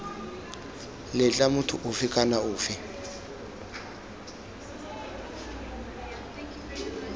letla motho ofe kana ofe